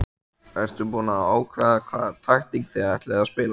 Ertu búinn að ákveða hvaða taktík þið ætlið að spila?